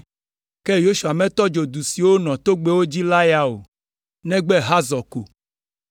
Ke Yosua metɔ dzo du siwo nɔ togbɛwo dzi la ya o, negbe Hazor ko.